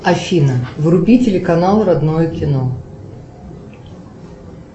афина вруби телеканал родное кино